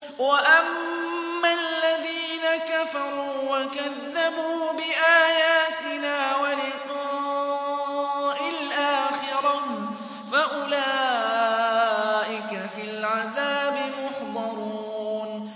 وَأَمَّا الَّذِينَ كَفَرُوا وَكَذَّبُوا بِآيَاتِنَا وَلِقَاءِ الْآخِرَةِ فَأُولَٰئِكَ فِي الْعَذَابِ مُحْضَرُونَ